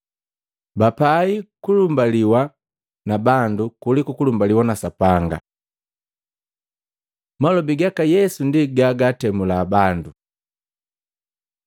Bapai kulumbaliwa na bandu kuliku kulumbaliwa na Sapanga. Malobi gaka Yesu ndi gaatemula bandu